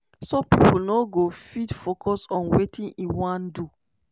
so pipo no go fit focus on wetin e wan do.